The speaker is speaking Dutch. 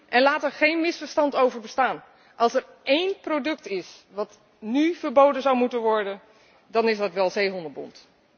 En laat daar geen misverstand over bestaan als er één product is dat nu verboden zou moeten worden dan is dat wel zeehondenbont.